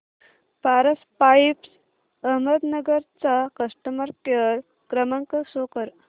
Paras pipes Ahmednagar चा customer care क्रमांक show करा